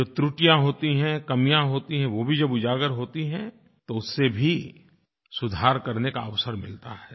जो त्रुटिया होती हैं कमियाँ होती हैं वो भी जब उजागर होती हैं तो उससे भी सुधार करने का अवसर मिलता है